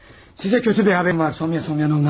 Sizə pis bir xəbərim var, Sonya Semyonovna.